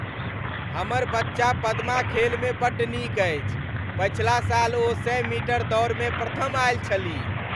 हमर बच्चा पद्मा खेलमे बड्ड नीक अछि। पछिला साल ओ सए मीटर दौड़मे प्रथम आयल छलीह।